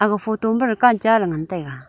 ega photo ma dukan cha ley ngan taiga.